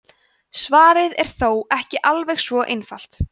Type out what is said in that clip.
svarið er þó ekki alveg svo einfalt